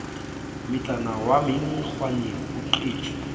motsana wa menkgwaneng o qetse